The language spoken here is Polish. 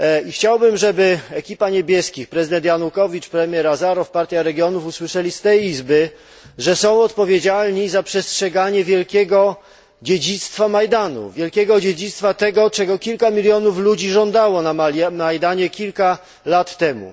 Chciałbym, żeby ekipa niebieskich prezydent Janukowycz, premier Azarow, Partia Regionów usłyszeli z tego Parlamentu, że są odpowiedzialni za przestrzeganie wielkiego dziedzictwa Majdanu, wielkiego dziedzictwa tego, czego kilka milionów ludzi żądało na Majdanie kilka lat temu.